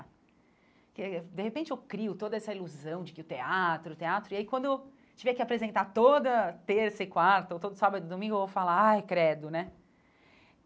Porque, de repente, eu crio toda essa ilusão de que o teatro, o teatro... E aí, quando eu tiver que apresentar toda terça e quarta, ou todo sábado e domingo, eu vou falar, ai, credo, né?